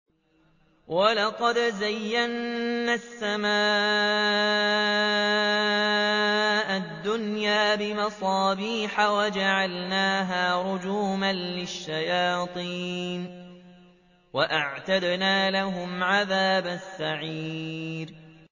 وَلَقَدْ زَيَّنَّا السَّمَاءَ الدُّنْيَا بِمَصَابِيحَ وَجَعَلْنَاهَا رُجُومًا لِّلشَّيَاطِينِ ۖ وَأَعْتَدْنَا لَهُمْ عَذَابَ السَّعِيرِ